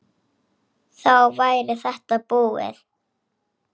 Þá væri þetta búið.